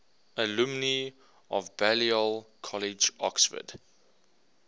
alumni of balliol college oxford